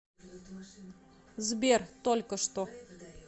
сбер только что